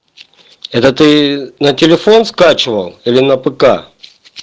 это ты на телефон скачивал или на пк